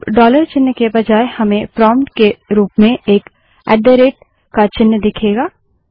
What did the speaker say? अब डॉलर चिन्ह के बजाय हमें प्रोम्प्ट के रूप में एक ऐट द रेट का चिन्ह दिखेगा